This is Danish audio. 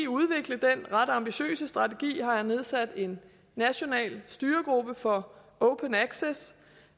udvikle den ret ambitiøse strategi har jeg nedsat en national styregruppe for open access